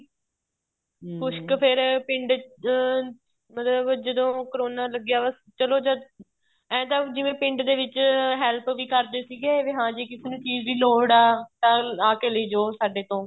ਕੁੱਛ ਕ ਫ਼ੇਰ ਪਿੰਡ ਅਹ ਮਤਲਬ ਜਦੋਂ ਕਰੋਨਾ ਲੱਗਿਆ ਬੱਸ ਚਲੋ ਜਦ ਏ ਤਾਂ ਪਿੰਡ ਦੇ ਵਿੱਚ help ਵੀ ਕਰਦੇ ਸੀਗੇ ਵੀ ਹਾਂਜੀ ਕਿਸੇ ਨੂੰ ਚੀਜ਼ ਦੀ ਲੋੜ ਆਂ ਆਕੇ ਲੇਜੋ ਸਾਡੇ ਤੋਂ